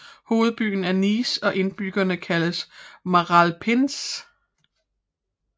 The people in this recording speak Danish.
Hovedbyen er Nice og indbyggerne kaldes Maralpins